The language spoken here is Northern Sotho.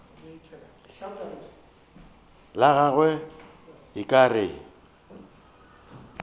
la gagwe o ka re